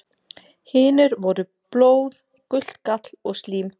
Hinir voru blóð, gult gall og slím.